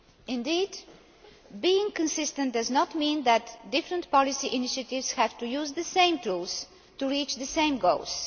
Indeed, being consistent does not mean that different policy initiatives have to use the same tools to reach the same goals.